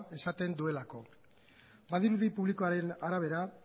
esaten duelako badirudi publikoaren arabera